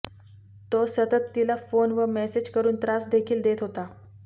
तो सतत तिला फोन व मेसेज करून त्रास देखील देत होता